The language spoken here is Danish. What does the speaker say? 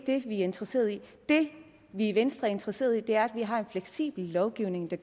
vi er interesseret i det vi i venstre er interesseret i er at vi har en fleksibel lovgivning der